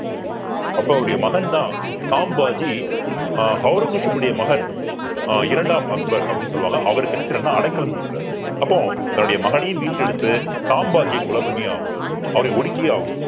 அப்போ அவருடைய மகன்தான் சாம் பாஜி ஆஹ் ஔரங்கசீப்னுடைய மகன் ஆஹ் இரண்டாம் அக்பர் அப்படின்னு சொல்லுவாங்க அவருக்கு என்ன செய்யறாருன்னா அடைக்கலம் குடுக்குறார் அப்போ தன்னுடைய மகனையே மீட்டெடுத்து சாம்பாஜியை கொலை பண்ணியே ஆகணும் அவரை ஒடுக்கியே ஆகணும்